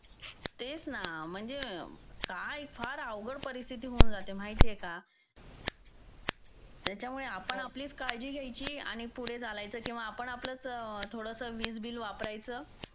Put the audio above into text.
तेच ना. म्हणजे काय, फार अवघड परिस्थिती होऊन जाते माहितीये का. त्याच्यामुळे आपण आपलीच काळजी घ्यायची पुढे चालायचं किंवा आपण आपलं थोडंसं विज बिल वापरायचं.